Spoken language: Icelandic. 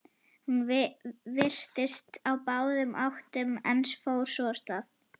Hún virtist á báðum áttum en fór svo af stað.